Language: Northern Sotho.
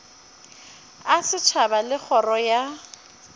a setšhaba le kgoro ya